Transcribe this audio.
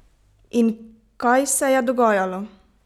In kaj se je dogajalo?